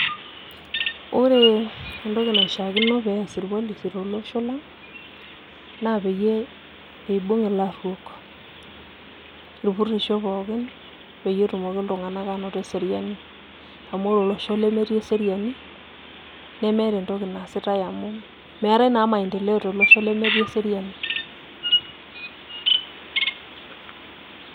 Ore entoki naishiakino pee ees irpolisi tolosho lang' naa peyie iibung' ilarruok irpurrisho pookin pee etumoki iltung'anak aanoto eseriani, amu ore olosho lemetii eseriani nemeeta entoki naasitai amu meetai naa maendeleo tolosho lemetii eseriani.